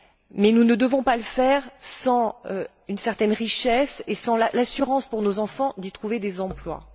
Mais nous ne devons pas le faire sans une certaine richesse et sans l'assurance, pour nos enfants, d'y trouver des emplois.